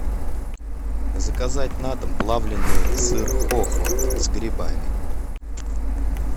заказать на дом плавленный сыр хохланд с грибами